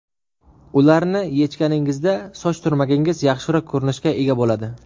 Ularni yechganingizda soch turmagingiz yaxshiroq ko‘rinishga ega bo‘ladi.